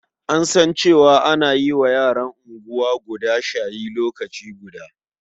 An san cewa ana wa yaran unguwa guda shayi lokaci guda.